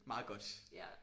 Meget godt